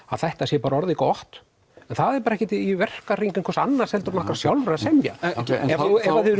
að þetta sé bara orðið gott en það er bara ekkert í verkahring einhvers annars en okkar sjálfra að semja ef að þið